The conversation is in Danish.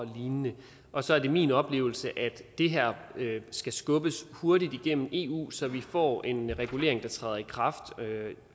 og lignende og så er det min oplevelse at det her skal skubbes hurtigt igennem eu så vi får en regulering der træder i kraft